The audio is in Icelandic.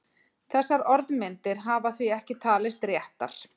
Þessar orðmyndir hafa því ekki talist réttar.